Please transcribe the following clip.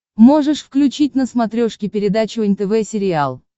можешь включить на смотрешке передачу нтв сериал